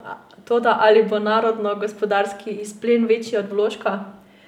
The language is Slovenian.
Toda, ali bo narodnogospodarski izplen večji od vložka?